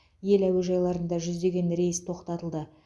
ел әуежайларында жүздеген рейс тоқтатылды